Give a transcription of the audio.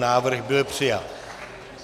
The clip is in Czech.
Návrh byl přijat.